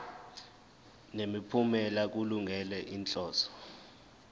nemiphumela kulungele inhloso